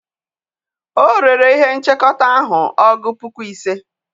o rere ihe-nchekọta ahu ọgu puku ise.